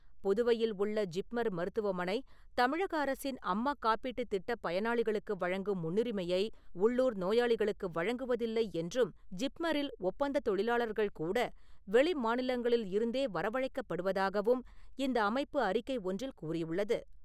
புதுவையில் உள்ள ஜிப்மர் மருத்துவமனை தமிழக அரசின் அம்மா காப்பீட்டுத் திட்டப் பயனாளிகளுக்கு வழங்கும் முன்னுரிமையை உள்ளூர் நோயாளிகளுக்கு வழங்குவதில்லை என்றும், ஜிப்மரில் ஒப்பந்தத் தொழிலாளர்கள் கூட வெளி மாநிலங்களில் இருந்தே வரவழைக்கப்படுவதாகவும் இந்த அமைப்பு அறிக்கை ஒன்றில் கூறியுள்ளது.